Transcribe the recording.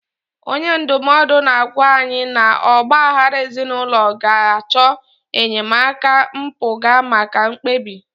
Onye ndụmọdụ na-agwa anyị na ọgba aghara ezinụlọ ga-achọ enyemaka mpụga maka mkpebi.